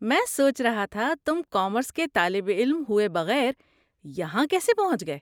میں سوچ رہا تھا تم کامرس کے طالب علم ہوئے بغیر یہاں کیسے پہنچ گئے۔